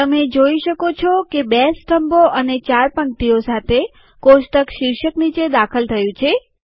તમે જુઓ કે બે સ્તંભો અને ચાર પંક્તિઓ સાથે કોષ્ટક શીર્ષક નીચે દાખલ થયું છે